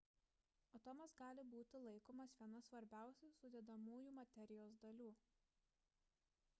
atomas gali būti laikomas viena svarbiausių sudedamųjų materijos dalių